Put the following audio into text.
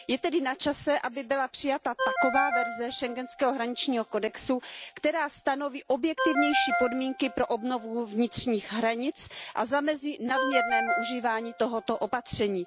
Je tedy načase, aby byla přijata taková verze schengenského hraničního kodexu, která stanoví objektivnější podmínky pro obnovu vnitřních hranic a zamezí nadměrnému užívání tohoto opatření.